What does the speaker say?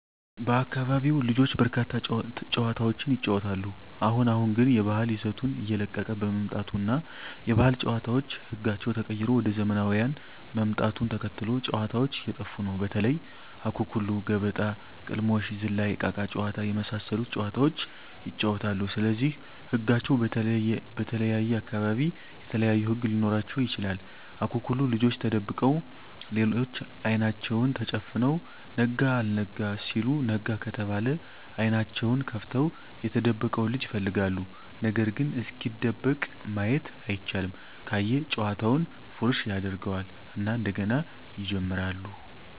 በአካቢው ልጆች በርካታ ጨዋታዎችን ይጫወታሉ አሁን አሁን ግን የባህል ይዘቱን እየለቀቀ በመምጣቱ እና የባህል ጨዋታዎች ህጋቸው ተቀይሮ ወደ ዘመናውያን ምጣቱን ተከትሎ ጨዎታዎች እየጠፉ ነው በተለይ:- አኩኩሉ ገበጣ: ቅልሞሽ ዝላይ እቃቃ ጨዎታ የመሣሠሉት ጨዋታዎች ይጫወታሉ ስለዚህ ህጋቸው በተለየየ አካባቢ የተለያዩ ህግ ሊኖራቸው ይችላል አኩኩሉ ልጆች ተደብቀው ሌሎች አይናቸውን ተጨፍነው ነጋ አልጋ ሲሉ ነጋ ከተባለ አይኔናቸውን ከፍተው የተደበቀውን ልጅ ይፈልጋሉ ነገርግ እስኪደበቅ ማየት አይቻልም ካየ ጨዋታውን ፉረሽ ያጀርገው እና እንደገና ይጀምራሉ።